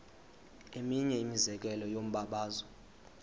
eminye imizekelo yombabazo